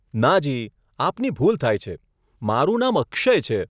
નાજી, આપની ભૂલ થાય છે, મારું નામ અક્ષય છે.